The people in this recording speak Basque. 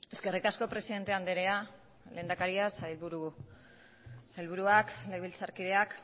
eskerrik asko presidente anderea lehendakaria sailburuak legebiltzarkideak